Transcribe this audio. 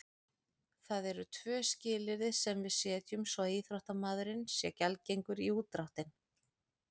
Það eru tvö skilyrði sem við setjum svo að íþróttamaðurinn sé gjaldgengur í útdráttinn.